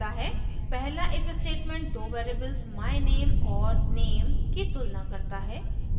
पहला if statement दो variables myname और name की तुलना करता है